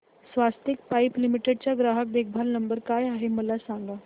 स्वस्तिक pipe limited चा ग्राहक देखभाल नंबर काय आहे मला सांगा